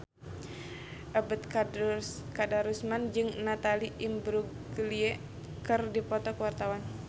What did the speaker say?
Ebet Kadarusman jeung Natalie Imbruglia keur dipoto ku wartawan